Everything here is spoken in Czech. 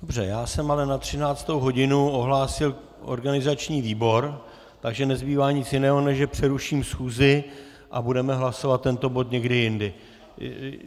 Dobře, já jsem ale na 13. hodinu ohlásil organizační výbor, takže nezbývá nic jiného, než že přeruším schůzi, a budeme hlasovat tento bod někdy jindy.